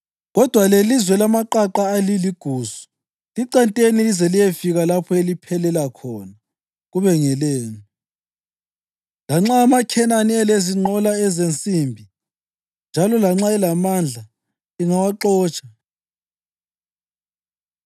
kodwa lelizwe lamaqaqa aliligusu. Licenteni lize liyefika lapho eliphelela khona kube ngelenu; lanxa amaKhenani elezinqola zensimbi njalo lanxa elamandla, lingawaxotsha.”